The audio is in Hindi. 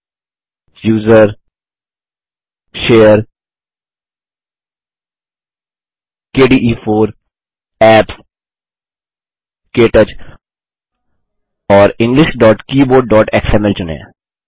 root usr share kde4 apps क्टच और englishktouchएक्सएमएल चुनें